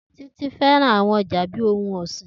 Titi fẹran awọn aja bi ohun ọsin.